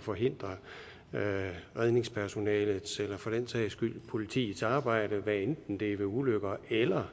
forhindre redningspersonalets eller for den sags skyld politiets arbejde hvad enten det er ved ulykker eller